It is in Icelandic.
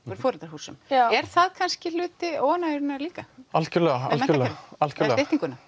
úr foreldrahúsum er það kannski hluti óánægjunnar líka algjörlega algjörlega